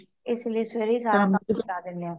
ਇਸ ਲਯੀ ਸਵੇਰੇ ਹੀ ਨਿਪਟਾ ਦੇਣੇ ਆ